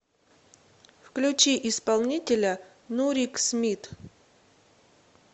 включи исполнителя нурик смит